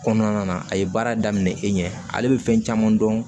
Kɔnɔna na a ye baara daminɛ e ɲɛ ale bɛ fɛn caman dɔn